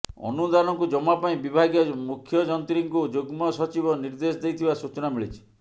ଅନୁଦାନକୁ ଜମା ପାଇଁ ବିଭାଗୀୟ ମୁଖ୍ୟଯନ୍ତ୍ରୀଙ୍କୁ ଯୁଗ୍ମ ସଚିବ ନିର୍ଦ୍ଦେଶ ଦେଇଥିବା ସୂଚନା ମିଳିଛି